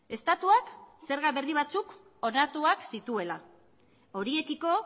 estatuak zerga berri batzuk onartuak zituela horiekiko